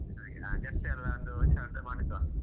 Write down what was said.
ಹಾಗೆ jersey ಎಲ್ಲ ಒಂದು ಹೊಸತು ಮಾಡಿಸುವ.